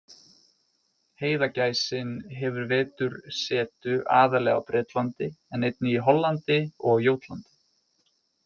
Heiðagæsin hefur vetursetu aðallega á Bretlandi en einnig í Hollandi og á Jótlandi.